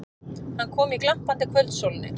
Hann kom í glampandi kvöldsólinni.